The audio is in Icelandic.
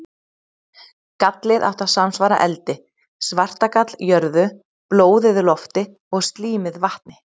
Gallið átti að samsvara eldi, svartagall jörðu, blóðið lofti og slímið vatni.